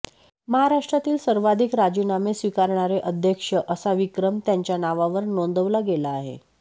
महाराष्ट्रातील सर्वाधिक राजीनामे स्वीकारणारे अध्यक्ष असा विक्रम त्यांच्या नावावर नोंदवला गेला आहे